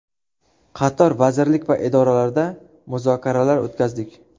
Qator vazirlik va idoralarda muzokaralar o‘tkazdik.